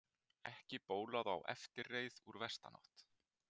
Ekki bólaði á eftirreið úr vesturátt.